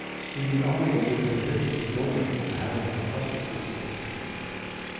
Siden anlegget ligger litt høyt oppe i skråningen er her en fantastisk utsikt. punktum